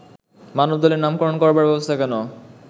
মানবদলের নামকরণ করবার ব্যবস্থা কেন